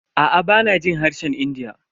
Aa bana jin harshen India.